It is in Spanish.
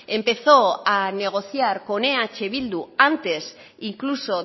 empezó a negociar con eh bildu antes incluso